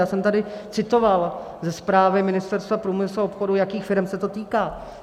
Já jsem tady citoval ze zprávy Ministerstva průmyslu a obchodu, jakých firem se to týká.